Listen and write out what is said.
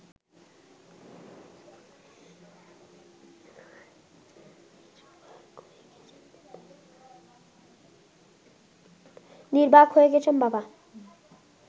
নির্বাক হয়ে গেছেন বাবা